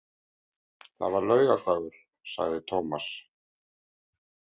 Það var laugardagur, sagði Tómas.